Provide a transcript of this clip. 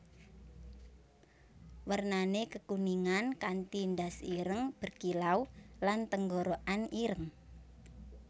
Warnané kekuningan kanti ndas ireng berkilau lan tenggorokan ireng